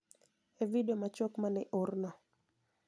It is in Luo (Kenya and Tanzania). E vidio machuok ma ne oor no